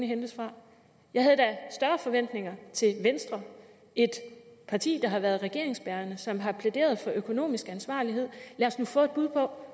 hentes fra jeg havde da større forventninger til venstre et parti der har været regeringsbærende og som har plæderet for økonomisk ansvarlighed lad os nu få et bud på